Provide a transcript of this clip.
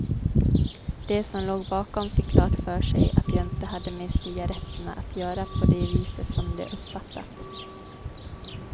De som låg bakom fick klart för sig att jag inte hade med cigaretterna att göra på det viset som de uppfattat.